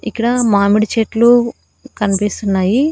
ఇక్కడ మామిడి చెట్లు కన్పిస్తున్నాయి.